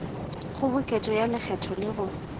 kgoboketšo ya lekgetho le go